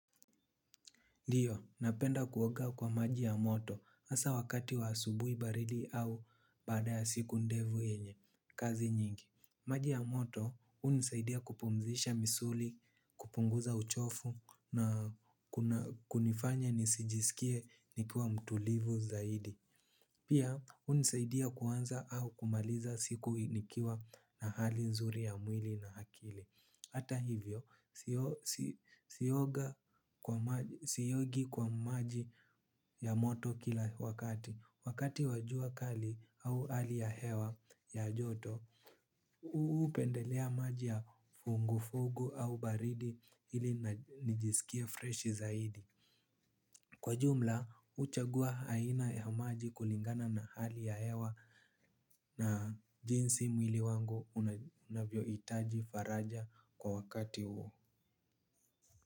Ndiyo napenda kuoga kwa maji ya moto hasa wakati wa asubuhi baridi au baada ya siku ndefu yenye kazi nyingi. Maji ya moto hunisaidia kupumzisha misuli kupunguza uchovu na kunifanya nisijisikie nikiwa mtulivu zaidi. Pia hunisaidia kuanza au kumaliza siku nikiwa na hali nzuri ya mwili na akili. Hata hivyo, siogi kwa maji ya moto kila wakati, wakati wa jua kali au hali ya hewa ya joto, hupendelea maji ya vuguvugu au baridi ili nijisikie fresh zaidi. Kwa jumla, huchagua aina ya maji kulingana na hali ya hewa na jinsi mwili wangu unavyohitaji faraja kwa wakati huo.